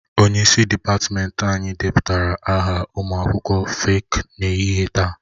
Onye isi dịpatmenti anyị depụtara aha ụmụ akwụkwọ feeki n'ehihie taa